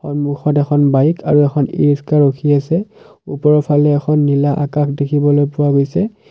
সন্মুখত এখন বাইক আৰু এখন ই ৰিক্সা ৰখি আছে ওপৰৰ ফলে এখন নীলা আকাশ দেখিবলৈ পোৱা গৈছে।